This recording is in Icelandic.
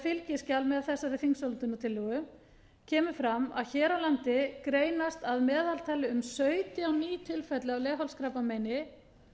fylgiskjal með þessari þingsályktunartillögu kemur fram að hér á landi greinast að meðaltali um sautján ný tilfelli af leghálskrabbameini